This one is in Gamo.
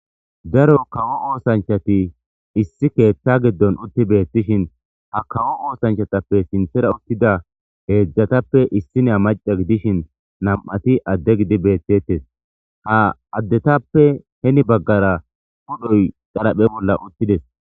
Daro kawo oosanchati issi keeththa giddon utti beettishin ha kawo oosanchatappe sinthera uttida heedzdzatappe issiniya macca gidishin nam7ati adde gidi beettetes. Ha addetappe heni baggara pudhoy qaraphe bolla uttides.